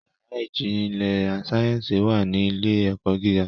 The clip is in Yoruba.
Yàrá ìjìnlẹ̀ sáyẹ́nsì wà ní ilé - ẹ̀kọ́ gíga